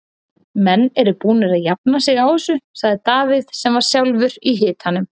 Menn eru búnir að jafna sig á þessu, sagði Davíð sem var sjálfur í hitanum.